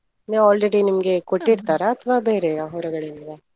ನೀವು already ನಿಮ್ಗೆ ಕೊಟ್ಟಿರ್ತಾರಾ ಅಥವಾ ಬೇರೆಯ ಹೊರಗಡೆಯಿಂದವಾ?